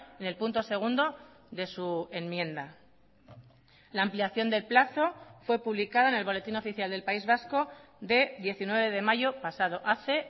en el punto segundo de su enmienda la ampliación del plazo fue publicada en el boletín oficial del país vasco de diecinueve de mayo pasado hace